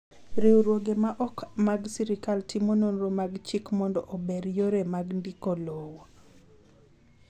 Riwruoge ma ok mag sirkal timo nonro mag chik mondo ober yore mag ndiko lowo.